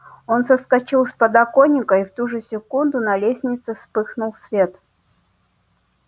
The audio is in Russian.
он соскочил с подоконника и в ту же секунду на лестнице вспыхнул свет